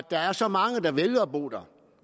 der er så mange der vælger at bo der